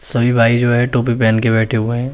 सभी भाई जो हैं टोपी पहन के बैठे हुए हैं।